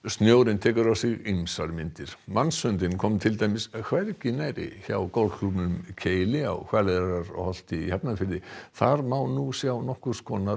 snjórinn tekur á sig ýmsar myndir mannshöndin kom til dæmis hvergi nærri hjá golfklúbbnum Keili á Hvaleyrarholti í Hafnarfirði þar má nú sjá nokkurs konar